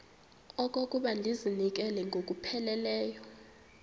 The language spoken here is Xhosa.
okokuba ndizinikele ngokupheleleyo